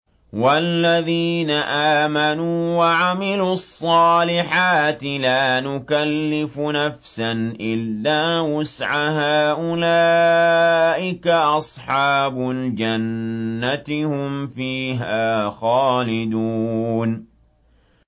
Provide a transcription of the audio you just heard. وَالَّذِينَ آمَنُوا وَعَمِلُوا الصَّالِحَاتِ لَا نُكَلِّفُ نَفْسًا إِلَّا وُسْعَهَا أُولَٰئِكَ أَصْحَابُ الْجَنَّةِ ۖ هُمْ فِيهَا خَالِدُونَ